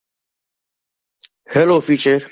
Hello future